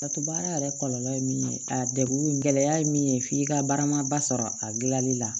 Ka to baara yɛrɛ kɔlɔlɔ ye min ye a degun gɛlɛya ye min ye f'i ka baaramaba sɔrɔ a dilanni la